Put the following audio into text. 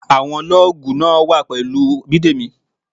Àwọn lọ́ọ̀gù náà wà pẹ̀lú Bidemi.